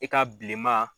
I ka bilenman